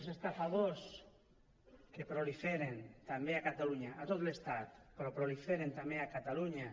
els estafadors que proliferen també a catalunya a tot l’estat però proliferen també a catalunya